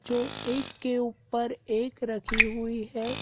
एक के ऊपर एक रखी हुई है।